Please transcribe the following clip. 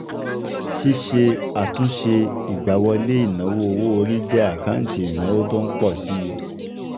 Síse àtúnṣe ìgbáwọlé ìnáwó owó orí jẹ́ àkáǹtì ìnáwó tó ń pọ̀ si